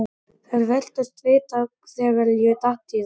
Þeir virtust vita þegar ég datt í það.